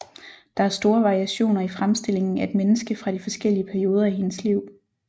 Der er store variationer i fremstillingen af et menneske fra de forskellige perioder i hendes liv